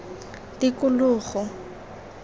tikologo